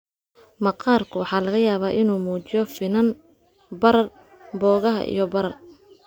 Maqaarku waxaa laga yaabaa inuu muujiyo finan, barar, boogaha, iyo barar.